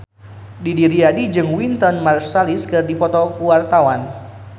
Didi Riyadi jeung Wynton Marsalis keur dipoto ku wartawan